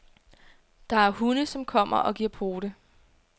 Der er hunde, som kommer og giver pote.